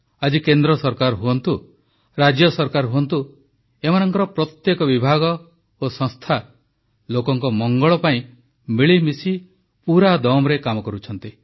ଆଜି କେନ୍ଦ୍ର ସରକାର ହୁଅନ୍ତୁ ରାଜ୍ୟ ସରକାର ହୁଅନ୍ତୁ ଏମାନଙ୍କର ପ୍ରତ୍ୟେକ ବିଭାଗ ଓ ସଂସ୍ଥା ଲୋକଙ୍କ ମଙ୍ଗଳ ପାଇଁ ମିଳିମିଶି ପୂରାଦମରେ କାମ କରୁଛନ୍ତି